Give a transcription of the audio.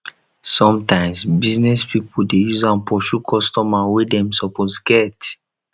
sometimes business pipo de use am pursue customer wey dem suppose get